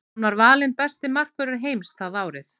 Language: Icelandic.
Hann var valinn besti markvörður heims það árið.